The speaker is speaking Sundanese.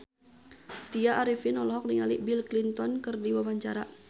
Tya Arifin olohok ningali Bill Clinton keur diwawancara